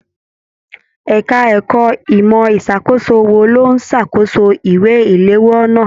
Ẹka ẹ̀kọ́ ìmọ ìṣàkóso wò ló n s'akoso ìwé iléwọ́ náa.